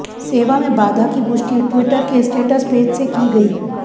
सेवा में बाधा की पुष्टि ट्विटर के स्टेटस पेज से की गई